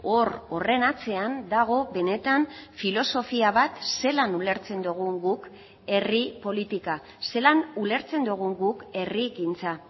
hor horren atzean dago benetan filosofia bat zelan ulertzen dugun guk herri politika zelan ulertzen dugun guk herrigintza